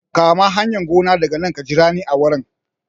Kama hanyar gona daga nan ka jira ni a wurin